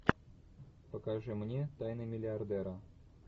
покажи мне тайны миллиардера